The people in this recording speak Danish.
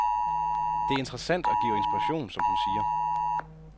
Det er interessant og giver inspiration, som hun siger.